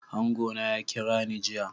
Angona ya kirani jiya.